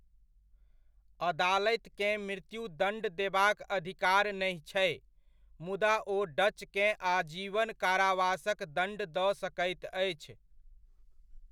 अदालतिकेँ मृत्यु दण्ड देबाक अधिकार नहि छै, मुदा ओ डचकेँ आजीवन कारावासक दण्ड दऽ सकैत अछि।